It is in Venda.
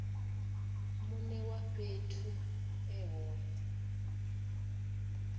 mune wa fhethu e hone